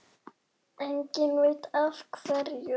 Enginn veit af hverju.